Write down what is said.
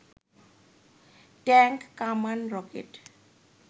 tank, কামান, rocket